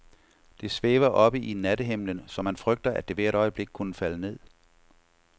Det svæver oppe i nattehimlen, så man frygter, at det hvert øjeblik kunne falde ned.